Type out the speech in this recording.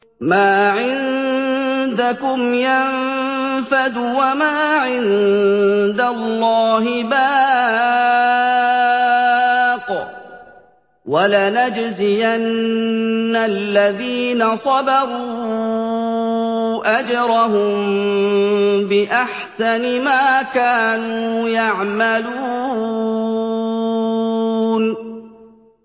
مَا عِندَكُمْ يَنفَدُ ۖ وَمَا عِندَ اللَّهِ بَاقٍ ۗ وَلَنَجْزِيَنَّ الَّذِينَ صَبَرُوا أَجْرَهُم بِأَحْسَنِ مَا كَانُوا يَعْمَلُونَ